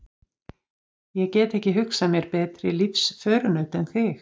Ég get ekki hugsað mér betri lífsförunaut en þig.